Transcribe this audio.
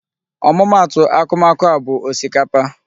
Ọmụma atụ akumaku a bụ osikapa.